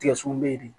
Tigɛ son be yen de